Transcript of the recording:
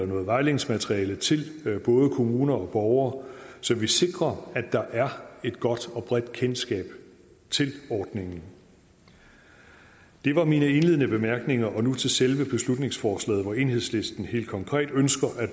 noget vejledningsmateriale til både kommuner og borgere så vi sikrer at der er et godt og bredt kendskab til ordningen det var mine indledende bemærkninger og nu til selve beslutningsforslaget hvor enhedslisten helt konkret ønsker at